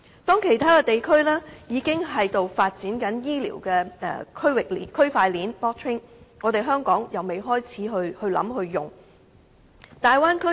當其他地區已經在發展醫療的區塊鏈時，香港卻仍未開始考慮和使用。